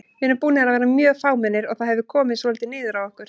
Við erum búnir að vera mjög fámennir og það hefur komið svolítið niður á okkur.